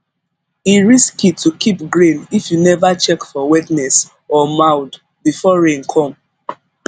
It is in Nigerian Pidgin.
e risky to keep grain if you never check for wetness or mould before rain come